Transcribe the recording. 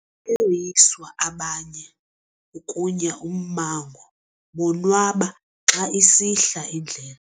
Bayoyiswa abanye ukunya ummango bonwaba xa isihla indlela.